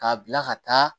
K'a bila ka taa